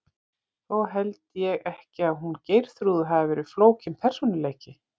Þó held ég ekki að hún Geirþrúður hafi verið flókinn persónuleiki.